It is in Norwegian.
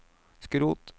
skrot